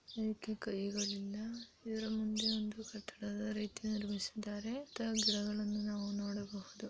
ಇದಕ್ಕೆ ಕೈಗಳಿಲ್ಲಾ. ಇದರ ಮುಂದೆ ಒಂದು ಕಟ್ಟಡದ ರೀತಿ ನಿರ್ಮಿಸಿದ್ದಾರೆ. ಗಿಡಗಳನ್ನು ನಾವು ನೋಡಬಹುದು.